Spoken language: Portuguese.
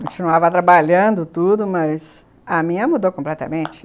Continuava trabalhando tudo, mas a minha mudou completamente.